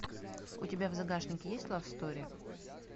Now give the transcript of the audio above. у тебя в загашнике есть лав стори